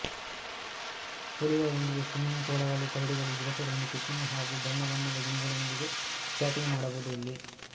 ಹುಲಿಯೊಂದಿಗೆ swimming ತೋಳಗಳು ಕರಡಿಗಳು ಜಿರಾಫೆಗಳೊಂದಿಗೆ ಕಿಸ್ಸಿಂಗ್ ಹಾಗೂ ಬಣ್ಣಬಣ್ಣದ ಗಿಣಿಗಳೊಂದಿಗೆ ಚಾಟಿಂಗನ್ನೂ ಮಾಡಬಹುದು ಇಲ್ಲಿ